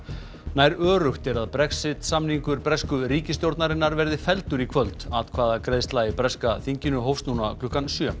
nær öruggt er að Brexit samningur bresku ríkisstjórnarinnar verði felldur í kvöld atkvæðagreiðsla í breska þinginu hófst núna klukkan sjö